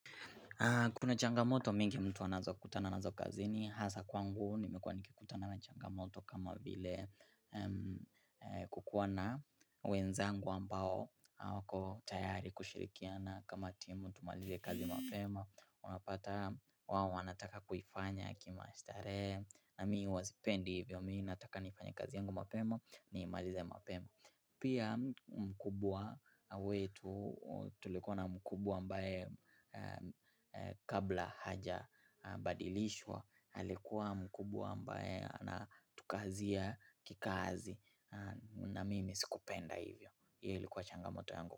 Kuna changamoto mingi mtu anazo kutana anazo kazi ni hasa kwangu nimekuwa nikikutana na changamoto kama vile kukuwa na wenzangu ambao wako tayari kushirikiana kama timu tumalize kazi mapema, wanapata wawo wanataka kuifanya kimastare na mi huwa sipendi hivyo mi nataka nifanye kazi yangu mapema niimalize mapema. Pia mkubwa wetu tulikuwa na mkubwa ambaye kabla hajabadilishwa alikuwa mkubwa ambaye anatukazia kikazi na mimi sikupenda hivyo hii likuwa changamoto yangu.